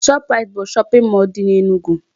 Shop rite bụ shopping mall dị n'Enugu.